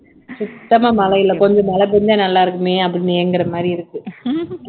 சுத்தமா மழை இல்லை கொஞ்சம் மழை பெஞ்சா நல்லா இருக்குமே அப்படின்னு ஏங்குற மாதிரி இருக்கு